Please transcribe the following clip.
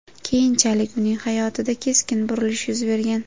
Keyinchalik uning hayotida keskin burilish yuz bergan.